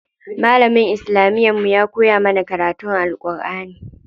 Malamin islamiyar mu ya koya mana karatun Alʼƙurʼani.